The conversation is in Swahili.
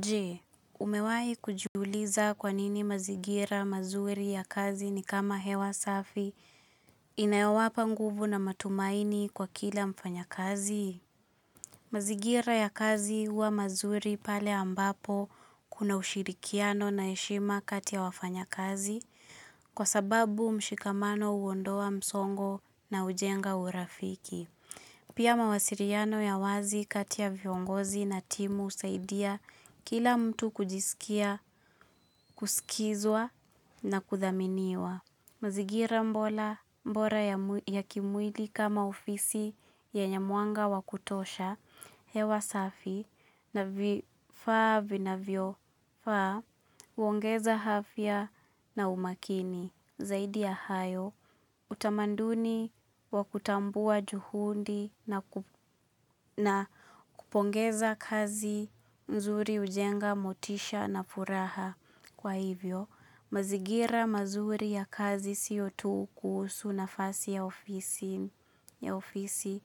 Je, umewai kujiuliza kwanini mazingira mazuri ya kazi ni kama hewa safi inayowapa nguvu na matumaini kwa kila mfanya kazi? Mazingira ya kazi huwa mazuri pale ambapo kuna ushirikiano na heshima katia wafanya kazi kwa sababu mshikamano huondoa msongo na hujenga urafiki. Pia mawasiliano ya wazi kati ya viongozi na timu husaidia kila mtu kujisikia, kusikizwa na kuthaminiwa. Mazingira bora ya kimwili kama ofisi yenye mwanga wa kutosha hewa safi na vifaa vinavyofaa huongeza afya na umakini. Zaidi ya hayo, utamaduni wa kutambua juhudi na kupongeza kazi nzuri hujenga motisha na furaha. Kwa hivyo, mazingira mazuri ya kazi siyo tu kuhusu nafasi ya ofisi.